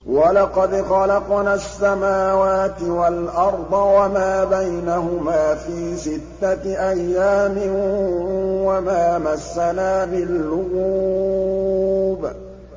وَلَقَدْ خَلَقْنَا السَّمَاوَاتِ وَالْأَرْضَ وَمَا بَيْنَهُمَا فِي سِتَّةِ أَيَّامٍ وَمَا مَسَّنَا مِن لُّغُوبٍ